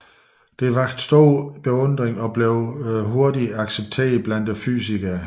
De vakte stor beundring og blev hurtigt accepteret blandt fysikerne